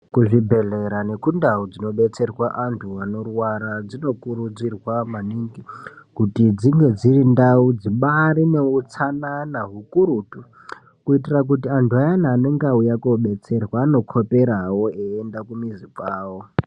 Kuzvibhedhlera nekundau dzinodetserwa antu anorwara dzino kurudzirwa maningi kuti dzinge dziri ndau dzimbairi neutsanana ukurutu kuitira kuti antu ayani anenge auya kodetserwa anokoperawo eyienda kumizi kwavo.